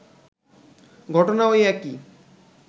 ঘটনা ওই একই